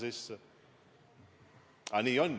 Aga nii on ju.